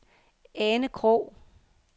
Ane Krog